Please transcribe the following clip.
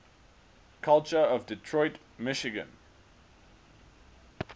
culture of detroit michigan